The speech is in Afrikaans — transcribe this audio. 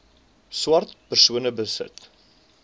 swart persone besit